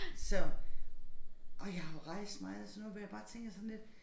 Så og jeg har jo rejst meget og sådan noget hvor jeg bare tænker sådan lidt